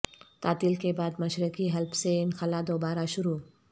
تعطل کے بعد مشرقی حلب سے انخلا دوبارہ شروع